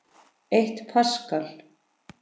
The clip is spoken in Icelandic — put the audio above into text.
Eitt paskal